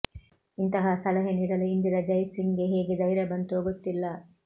ಇಂತಹ ಸಲಹೆ ನೀಡಲು ಇಂದಿರಾ ಜೈಸಿಂಗ್ಗೆ ಹೇಗೆ ಧೈರ್ಯ ಬಂತೊ ಗೊತ್ತಿಲ್ಲ